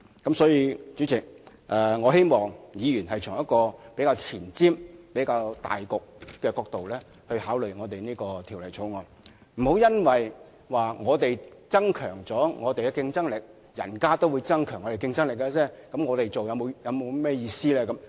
因此，代理主席，我希望議員能夠從比較前瞻和着重大局的角度考慮這項《條例草案》，不要說即使我們增強了競爭力，人家也會增強競爭力，這樣做還有意思嗎？